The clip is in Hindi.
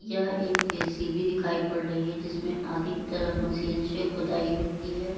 यह एक जे_सी_बी दिखाई पड़ रही है जिसमे आगे की तरफ मशीन से खोदाई होती है।